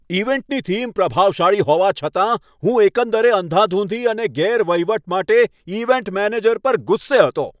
ઈવેન્ટની theme પ્રભાવશાળી હોવા છતાં હું એકંદર અંધાધૂંધી અને ગેરવહીવટ માટે ઈવેન્ટ મેનેજર પર ગુસ્સે હતો.